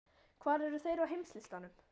Hvar eru þeir á heimslistanum?